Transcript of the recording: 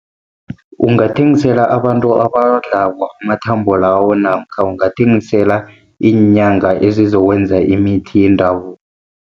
Ungathengisela abantu abawadlako amathambo lawo namkha ungathengisela iinyanga, ezizokwenza imithi yendabuko.